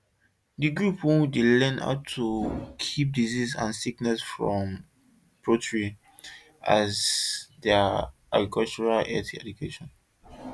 the group wey dey learn about how to keep disease and sickness comot from poultry as der agrichealth education